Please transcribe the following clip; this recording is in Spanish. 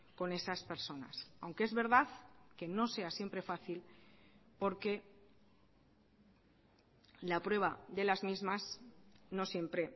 con esas personas aunque es verdad que no sea siempre fácil porque la prueba de las mismas no siempre